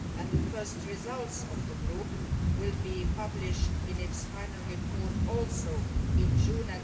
The first results of that group will be published in its final report, also in June.